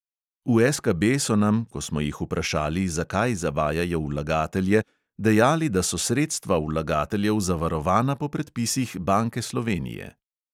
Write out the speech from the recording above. V SKB so nam, ko smo jih vprašali, zakaj zavajajo vlagatelje, dejali, da so sredstva vlagateljev zavarovana po predpisih banke slovenije.